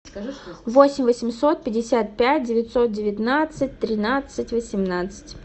восемь восемьсот пятьдесят пять девятьсот девятнадцать тринадцать восемнадцать